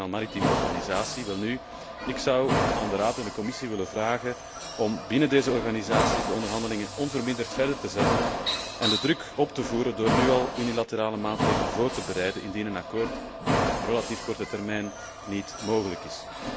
Maritieme Organisatie. Welnu, ik zou aan de Raad en de Commissie willen vragen om binnen deze organisaties de onderhandelingen onverminderd voort te zetten en de druk op te voeren door nu al unilaterale maatregelen voor te bereiden, indien een akkoord op relatief korte termijn niet mogelijk is.